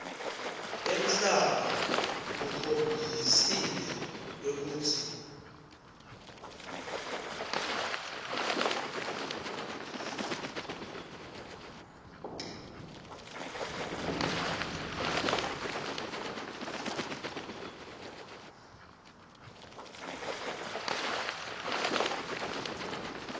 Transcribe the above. emhlaba kukhombisile kwekutsi